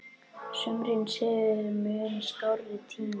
Sumrin séu mun skárri tími.